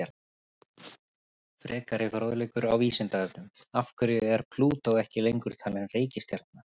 Frekari fróðleikur á Vísindavefnum: Af hverju er Plútó ekki lengur talin reikistjarna?